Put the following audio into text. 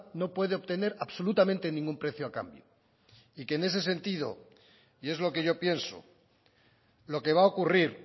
no puede obtener absolutamente ningún precio a cambio y que en ese sentido y es lo que yo pienso lo que va a ocurrir